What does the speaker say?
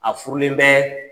A furulen bɛɛ